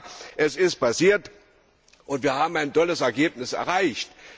Aber es ist passiert, und wir haben ein sehr gutes Ergebnis erreicht.